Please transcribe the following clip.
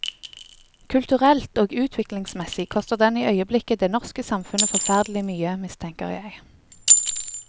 Kulturelt og utviklingsmessig koster den i øyeblikket det norske samfunnet forferdelig mye, mistenker jeg.